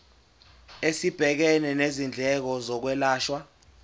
esibhekene nezindleko zokwelashwa